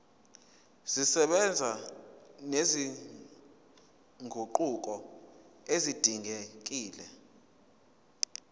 zisebenza nezinguquko ezidingekile